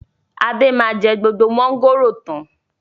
Adé máa jẹ gbogbo mọ̀ngòrò tán.